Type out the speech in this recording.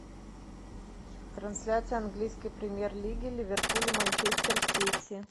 трансляция английской премьер лиги ливерпуль и манчестер сити